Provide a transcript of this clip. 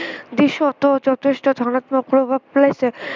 দিশতো যথেষ্ট ধনাত্মক প্ৰভাৱ পেলাইছে।